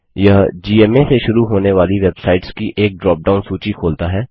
यह जीएमए से शुरू होने वाली वेबसाइट्स की एक ड्रॉपडाउन सूची खोलता है